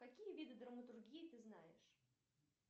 какие виды драматургии ты знаешь